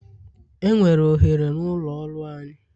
Enwere ohere n'ụlọ ọrụ anyị.